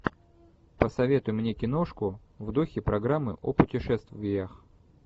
посоветуй мне киношку в духе программы о путешествиях